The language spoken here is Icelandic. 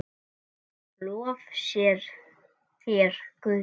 Lof sé þér, Guð.